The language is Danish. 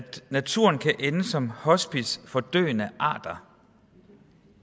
naturen kan ende som hospice for døende arter